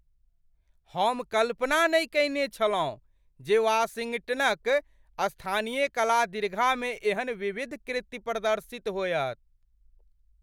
हम कल्पना नहि कयने छलहुँ जे वाशिंगटनक स्थानीय कला दीर्घा मे एहन विविध कृति प्रदर्शित होयत।